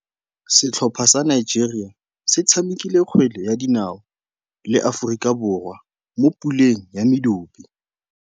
Setlhopha sa Nigeria se tshamekile kgwele ya dinaô le Aforika Borwa mo puleng ya medupe.